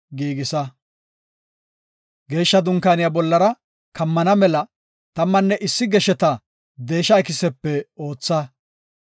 “Geeshsha Dunkaaniya bollara kammana mela tammanne issi gesheta deesha ikisepe ootha.